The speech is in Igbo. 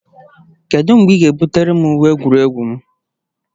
Kedu mgbe ị ga-ebutere gị uwe egwuregwu m?